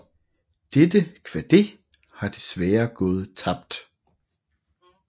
Dette kvadet har desværre gået tabt